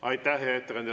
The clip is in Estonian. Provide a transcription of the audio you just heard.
Aitäh, hea ettekandja!